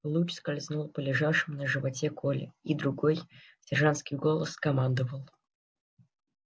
луч скользнул по лежавшему на животе коле и другой сержантский голос скомандовал